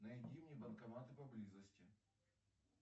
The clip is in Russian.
найди мне банкоматы поблизости